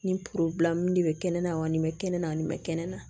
Nin porobilɛmu de bɛ kɛnɛ na wa nin bɛ kɛnɛ na nin bɛ kɛnɛ na